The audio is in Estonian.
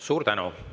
Suur tänu!